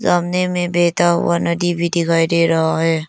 सामने में बहता हुआ नदी भी दिखाई दे रहा है।